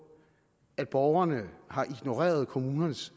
at borgerne har ignoreret kommunens